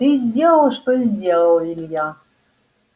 ты сделал что сделал илья